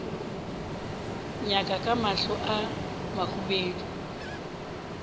nyaka ka mahlo a mahubedu